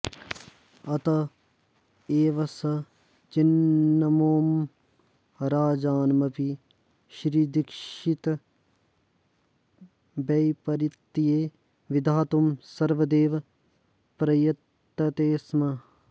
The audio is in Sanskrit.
अत एव स चिन्नबोम्मं राजानमपि श्रीदीक्षितवैपरीत्ये विधातुं सर्वदैव प्रयतते स्म